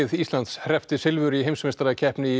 Íslands hreppti silfur í heimsmeistarakeppni í